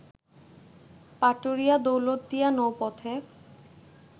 Paturia-Daulatdia নৌপথে